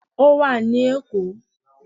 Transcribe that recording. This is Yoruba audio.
Ó wà ní Èkó